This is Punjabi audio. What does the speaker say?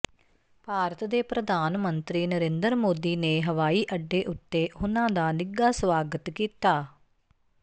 ਭਾਰਤ ਦੇ ਪ੍ਰਧਾਨ ਮੰਤਰੀ ਨਰਿੰਦਰ ਮੋਦੀ ਨੇ ਹਵਾਈ ਅੱਡੇ ਉੱਤੇ ਉਨ੍ਹਾਂ ਦਾ ਨਿੱਘਾ ਸਵਾਗਤ ਕੀਤਾ